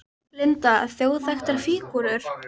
Linda: Þjóðþekktar fígúrur?